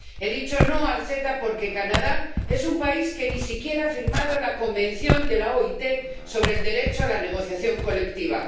He dicho no al CETA porque Canadá es un país que ni siquiera ha firmado el Convenio de la OIT sobre el derecho a la negociación colectiva.